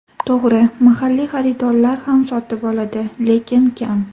To‘g‘ri, mahalliy xaridorlar ham sotib oladi, lekin kam.